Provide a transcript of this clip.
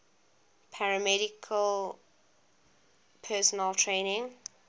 paramedical personnel training